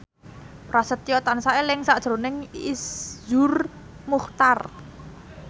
Prasetyo tansah eling sakjroning Iszur Muchtar